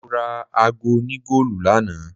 Mora aago òní goolu lánàá.